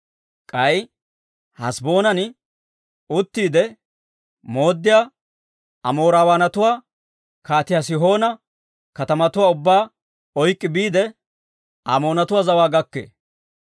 K'ay Haseboonan uttiide mooddiyaa Amoorawaanatuwaa Kaatiyaa Sihoona katamatuwaa ubbaa oyk'k'i biide, Amoonatuwaa zawaa gakkee.